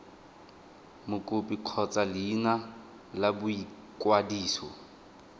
mokopi kgotsa leina la boikwadiso